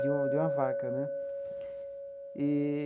de uma de uma vaca né eee.